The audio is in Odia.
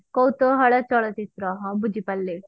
କୌତୁହଳ ଚଳଚିତ୍ର ହଁ ବୁଝିପାରିଲି